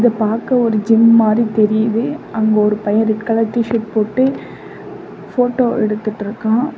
இது பாக்க ஒரு ஜிம் மாறி தெரியுது அங்க ஒரு பைய ரெட் கலர் டி_ஷர்ட் போட்டு போட்டோ எடுத்துட்டுருக்கான்.